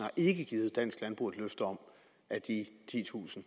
ikke givet dansk landbrug et løfte om at de titusind